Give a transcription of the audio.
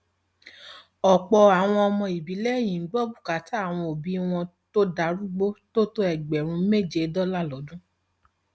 ọpọ àwọn ọmọ ìbílẹ yìí ń gbọ bùkátà àwọn òbí wọn tó darúgbó tó tó ẹgbẹrún méje dọlà lọdún